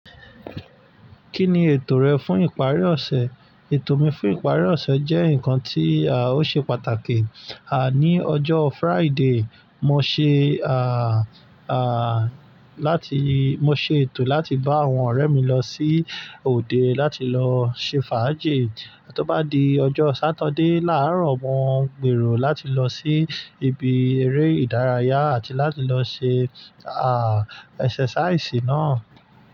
Kí ni ètò rẹ fún ìparí ọ̀sẹ̀? Ètò mi fún ìparí ọ̀sẹ̀ jẹ́ nǹkan tí ó ṣe pàtàkì. Ní ọjọ́ Friday, mo ṣe láti-- mo ṣe ètò láti bá àwọn ọ̀rẹ́ mi lọ sí òde láti lọ ṣe fàájì. Tó bá di ọjọ́ Saturday láàárọ̀, mo gbèrò láti lọ sí ibi eré ìdárayá àti láti lọ ṣe àá exercise náà.